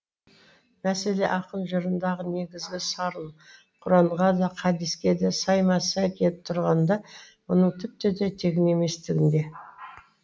мәселе ақын жырындағы негізгі сарын құранға да хадиске де сайма сай келіп тұрғанында мұның тіпті де тегін еместігінде